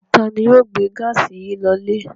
Ta ni yóò gbé gáásì yìí lọlé?